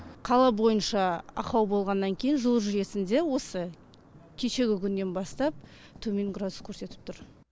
қала бойынша ақау болғаннан кейін жылу жүйесінде осы кешегі күннен бастап төмен градус көрсетіп тұр